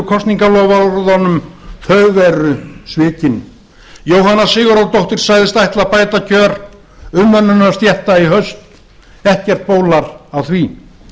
kosningaloforðunum sem verið er að svíkja jóhanna sigurðardóttir sagðist ætla að bæta kjör umönnunarstétta í haust ekkert bólar á því